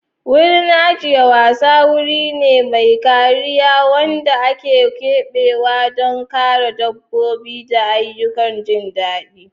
Wurin ajiyar wasa wuri ne mai kariya wanda aka keɓe don kare dabbobi da ayyukan jin daɗi.